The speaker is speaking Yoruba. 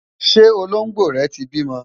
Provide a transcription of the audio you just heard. ṣé Olongbo rè tí bímọ?